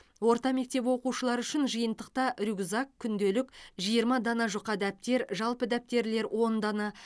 орта мектеп оқушылары үшін жиынтықта рюкзак күнделік жиырма дана жұқа дәптер жалпы дәптерлер он дана